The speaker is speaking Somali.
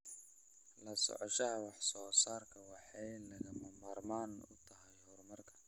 La socoshada wax soo saarku waxay lagama maarmaan u tahay horumarka.